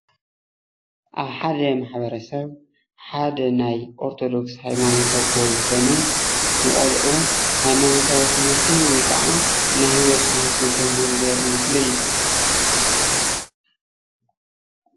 ኣብ ሓደ ማሕበረ ሰብ ሓደ ናይ ኦርተዶክስ ሃይማኖት ኣቦ ዝኮኑ ንቆልዑ ሃይማኖታዊ ትምህርቲ ወይ ከዓ ናይ ሂወት ትምህርቲ እንተምህሩ ዘርኢ ምስሊ እዩ፡፡